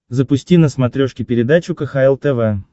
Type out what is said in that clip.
запусти на смотрешке передачу кхл тв